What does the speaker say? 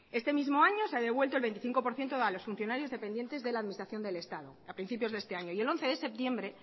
este mismo año se ha devuelto el veinticinco por ciento a los funcionarios dependientes de la administración del estado a principios de este año y el once de septiembre